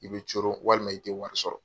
I bɛ coron walima i tɛ wari sɔrɔ.